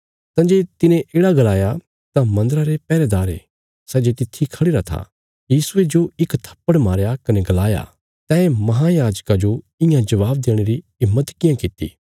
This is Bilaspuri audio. तंजे तिने येढ़ा गलाया तां मन्दरा रे पैहरेदारे सै जे तित्थी खढ़िरा था यीशुये जो इक थप्पड़ मारया कने गलाया तैं महायाजका जो ईंयाँ जबाब देणे री हिम्मत कियां किति